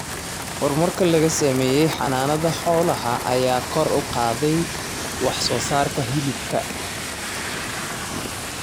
Horumarka laga sameeyay xanaanada xoolaha ayaa kor u qaaday wax soo saarka hilibka.